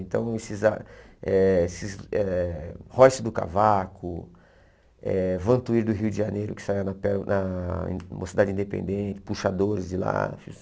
Então, esses ah eh esses eh... Royce do Cavaco, eh Van Tuyr do Rio de Janeiro, que saiu na per na Mocidade Independente, Puxadores de Láfios.